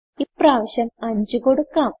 ഇപ്രാവശ്യം 5 കൊടുക്കാം